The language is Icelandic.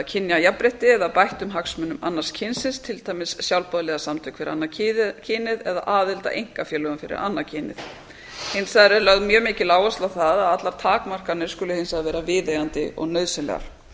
kynjajafnrétti eða bættum hagsmunum annars kynsins til dæmis sjálfboðaliðasamtök fyrir annað kynið eða aðild að einkafélögum fyrir annað kynið hins vegar er lögð mjög mikil áhersla á það að allar takmarkanir skuli hins vegar vera viðeigandi og nauðsynlegar